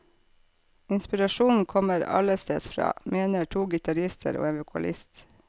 Inspirasjonen kommer allestedsfra, mener to gitarister og en vokalist.